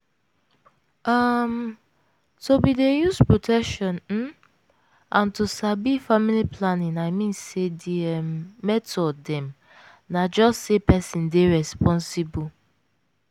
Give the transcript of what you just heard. um to bin dey use protection um and to sabi family planning i mean say d um method dem na just say peson dey responsible.